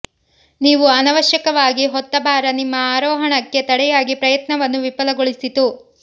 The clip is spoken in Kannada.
ನೀವು ಅನವಶ್ಯಕವಾಗಿ ಹೊತ್ತ ಭಾರ ನಿಮ್ಮ ಆರೋಹಣಕ್ಕೆ ತಡೆಯಾಗಿ ಪ್ರಯತ್ನವನ್ನು ವಿಫಲಗೊಳಿಸಿತು